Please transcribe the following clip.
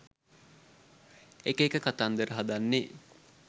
එක එක කතන්දර හදන්නේ